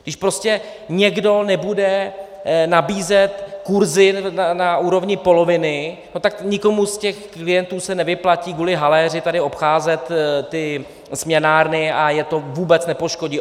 Když prostě někdo nebude nabízet kurzy na úrovni poloviny, no tak nikomu z těch klientů se nevyplatí kvůli haléři tady obcházet ty směnárny a je to vůbec nepoškodí.